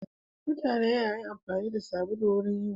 Mutane na amfani da sabulu wurin yin wanka.